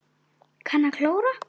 Kann að klóra.